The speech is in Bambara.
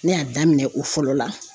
Ne y'a daminɛ o fɔlɔ la